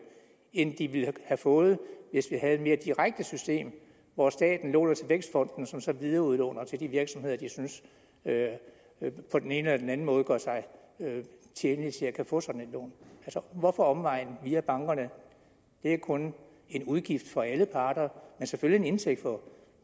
end de ville have fået hvis vi havde et mere direkte system hvor staten låner til vækstfonden som så videreudlåner til de virksomheder som de synes på den ene eller den anden måde gør sig tjenlige til at få sådan et lån hvorfor omvejen via bankerne det er kun en udgift for alle parter men selvfølgelig en indtægt for